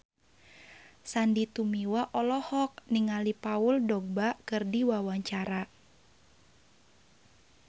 Sandy Tumiwa olohok ningali Paul Dogba keur diwawancara